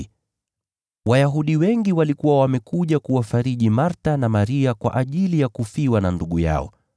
na Wayahudi wengi walikuwa wamekuja kuwafariji Martha na Maria kwa ajili ya kufiwa na ndugu yao.